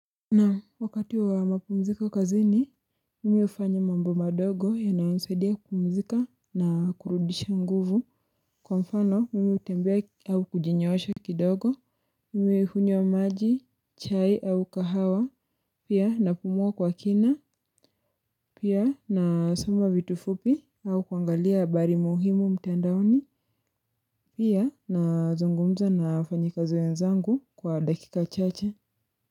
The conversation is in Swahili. Na wakati wa mapumzika kazi ni mimi ufanya mambo madogo ya naonsaidia kumzika na kurudisha nguvu kwa mfano mimi utembea au kujinyoosha kidogo mimi hunyo maji chai au kahawa pia napumua kwa kina pia na soma vitu fupi au kuangalia bari muhimu mtendaoni pia na zungumza na ufanyika zoenzangu kwa dakika chache.